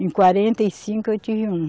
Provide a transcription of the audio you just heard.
Em quarenta e cinco eu tive uma.